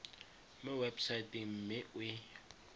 mo websaeteng mme o e